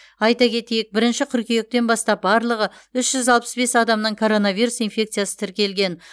айта кетейік бірінші қыркүйектен бастап барлығы үш жүз алпыс бес адамнан коронавирус инфекциясы тіркелген